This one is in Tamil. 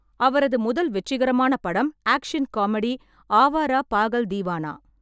அவரது முதல் வெற்றிகரமான படம் action comedy, Awara Pagal Deewana.